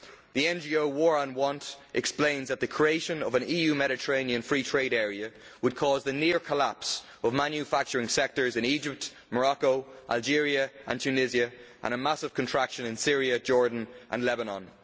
The NGO War on Want has explained that the creation of an EU Mediterranean free trade area would cause the near collapse of manufacturing sectors in Egypt, Morocco, Algeria and Tunisia and a massive contraction in Syria, Jordan and Lebanon.